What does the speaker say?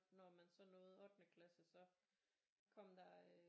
Når man så nåede ottende klasse så kom der øh